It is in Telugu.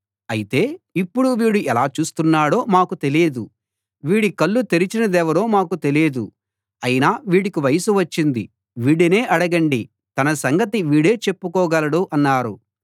అయితే ఇప్పుడు వీడు ఎలా చూస్తున్నాడో మాకు తెలీదు వీడి కళ్ళు తెరిచినదెవరో మాకు తెలీదు అయినా వీడికి వయస్సు వచ్చింది వీడినే అడగండి తన సంగతి వీడే చెప్పుకోగలడు అన్నారు